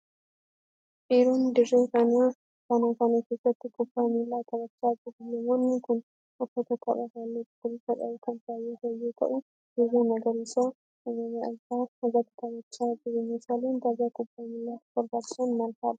Dhiironni dirree kana kana keessatti kubbaa miilaa taphachaa jiru. Namoonni kun, uffata taphaa haalluu cuquliisa qabu kan kaawwatan yoo ta'u, dirree magariisa uumamaa irratti taphachaa jiru. Meeshaaleen tapha kubbaa miilaatiif barbaachisan maal faa dha?